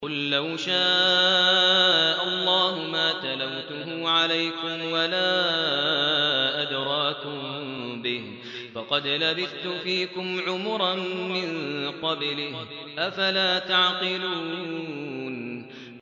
قُل لَّوْ شَاءَ اللَّهُ مَا تَلَوْتُهُ عَلَيْكُمْ وَلَا أَدْرَاكُم بِهِ ۖ فَقَدْ لَبِثْتُ فِيكُمْ عُمُرًا مِّن قَبْلِهِ ۚ أَفَلَا تَعْقِلُونَ